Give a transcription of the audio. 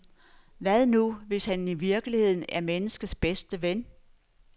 Hvad nu, hvis han i virkeligheden er menneskets bedste ven?